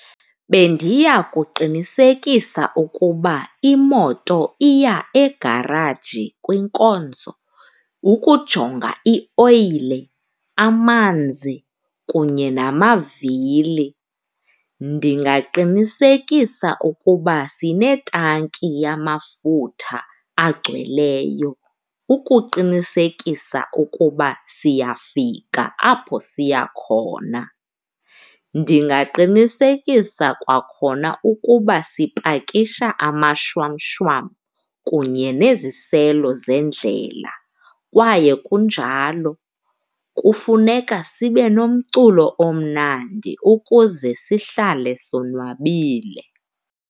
Bendiya kuqinisekisa ukuba imoto iya egaraji kwinkonzo. ukujonga ioyile, amanzi kunye namavili. Ndingaqinisekisa ukuba sinetanki yamafutha agcweleyo ukuqinisekisa ukuba siyafika apho siya khona. Ndingaqinisekisa kwakhona ukuba sipakisha amashwamshwam kunye neziselo zendlela kwaye kunjalo kufuneka sibenomculo omnandi ukuze sihlale sonwabile.